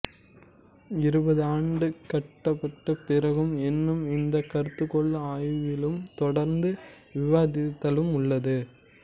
இருபது ஆண்டுகட்குப் பிறகும் இன்னமும் இந்தக் கருதுகோள் ஆய்விலும் தொடர்ந்த விவாத்த்திலும் உள்ளது